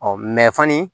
fani